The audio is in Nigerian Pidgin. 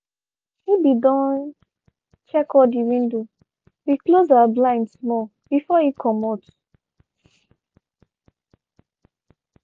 he be don check all dey window be close and blind small before e comot.